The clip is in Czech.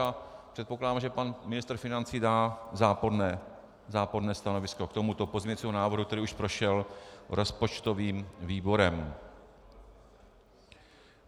A předpokládám, že pan ministr financí dá záporné stanovisko k tomuto pozměňujícímu návrhu, který už prošel rozpočtovým výborem.